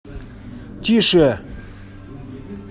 тише